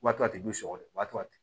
Wa to a tigi b'u sɔgɔ de wa